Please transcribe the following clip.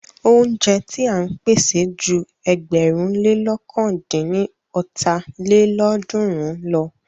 Óúnjẹ ti à ń pèsè ju ẹgbẹ̀rún lé lọ̀kan dín ní ọ́ta lélọ́ọ̀dúnrún lọ.